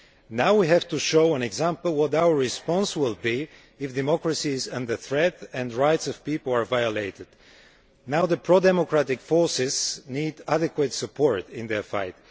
Now we have to show an example of what our response will be if democracy is under threat and the rights of the people are violated, now that pro democratic forces need adequate support in their fight.